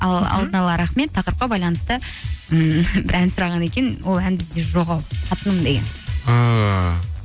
ал алдын ала рахмет тақырыпқа байланысты ммм бір ән сұраған екен ол ән бізде жоқ ау қатыным деген ааа